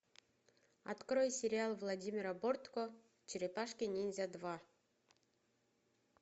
открой сериал владимира бортко черепашки ниндзя два